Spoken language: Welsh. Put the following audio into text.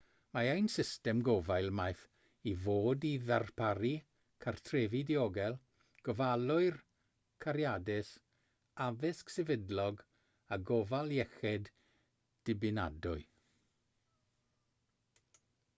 mae ein system gofal maeth i fod i ddarparu cartrefi diogel gofalwyr cariadus addysg sefydlog a gofal iechyd dibynadwy